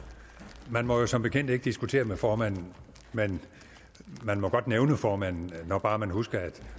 man må jo som bekendt ikke diskutere med formanden men man må godt nævne formanden når bare man husker at